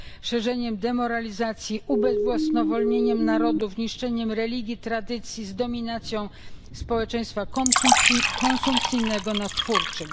szerzeniem demoralizacji, ubezwłasnowolnieniem narodów, niszczeniem religii, tradycji, z dominacją społeczeństwa konsumpcyjnego nad twórczym.